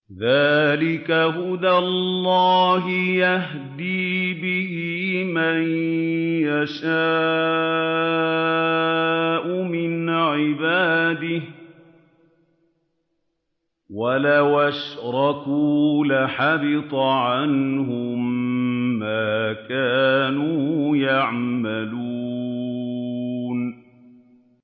ذَٰلِكَ هُدَى اللَّهِ يَهْدِي بِهِ مَن يَشَاءُ مِنْ عِبَادِهِ ۚ وَلَوْ أَشْرَكُوا لَحَبِطَ عَنْهُم مَّا كَانُوا يَعْمَلُونَ